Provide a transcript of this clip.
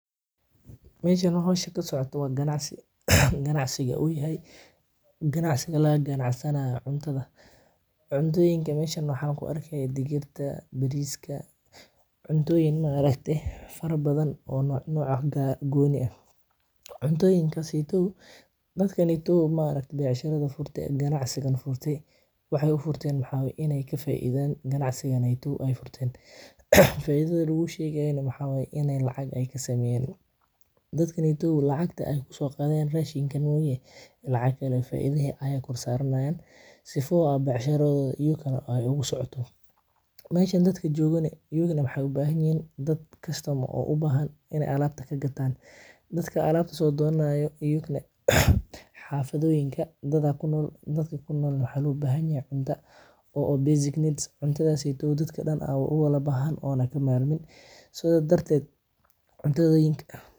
Meshan howsha kasocoto wa ganacsi ganacsiga u yahay ganacsiga laga ganacsanayo cuuntada. Cuntoyinka meshan waxan kuarka dhigirta, bariska, cuntoyin maragtay fara badan o nocya gooni ah cuntoyinkas eytu dadkaneytu maragtay becshara furtay gancsigana furtay waxay ufurten waxwaya inay kafaidan ganacsiga neytu ay furten faidada lagu sheegayo maxa waya inay lacag kasameyan dadkaneytu lacagta ay kusoqadan rashinka maogi lacag kale e faida aya korsaranayan sifo a becsharadoda iyukana ay ugu socoto. Meshan dadka jogana iyugana waxay ubahan yahin customer o ubahan in ay alabta kagatan dadka alabta sodonanayo oyukana xafadooyinka dad aya kunol dadka kunolna waxa lobahanyahay cunta o basic needs cuntadasetu dadka dan a owalabahan ana kamarmin sida darted cuntoyinka.